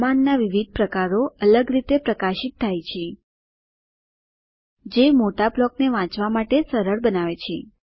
કમાંડના વિવિધ પ્રકારો અલગ રીતે પ્રકાશિત થાય છે જે મોટા બ્લોકોને વાંચવા માટે સરળ બનાવે છે